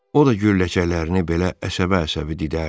O da gülləçəklərini belə əsəbə-əsəbi didərdi.